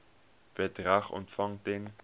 bedrag ontvang ten